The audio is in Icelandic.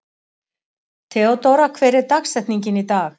Theódóra, hver er dagsetningin í dag?